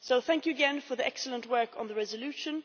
So thank you again for the excellent work on the resolution.